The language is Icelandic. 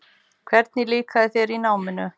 Hvernig líkaði þér í náminu?